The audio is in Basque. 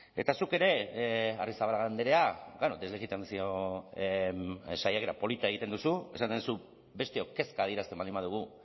eta zuk ere arrizabalaga andrea deslegitimazio saiakera polita egiten duzu esaten duzu besteok kezka adierazten baldin badugu